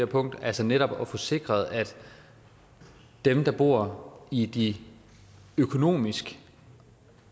punkt altså netop at få sikret at dem der bor i de økonomisk